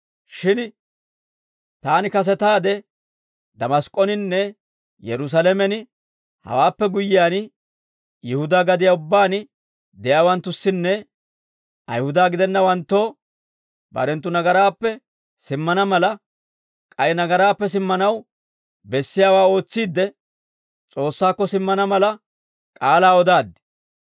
Shin taani kasetaade, Damask'oninne Yerusaalamen hewaappe guyyiyaan, Yihudaa gadiyaa ubbaan de'iyaawanttussinne Ayihuda gidennawanttoo barenttu nagaraappe simmana mala, k'ay nagaraappe simmanaw bessiyaawaa ootsiidde, S'oossaakko simmana mala k'aalaa odaaddi.